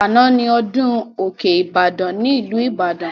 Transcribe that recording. Àná ni ọdún òkè Ibadan ní ìlú Ìbàdàn